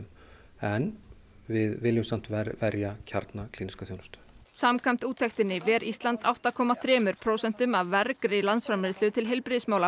en við viljum samt vernda kjarna klíníska þjónustu samkvæmt úttektinni ver Ísland átta komma þremur prósentum af vergri landsframleiðslu til heilbrigðismála